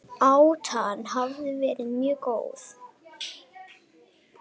Átan hafi verið mjög góð